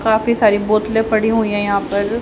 काफी सारी बोतलें पड़ी हुई हैं यहां पर।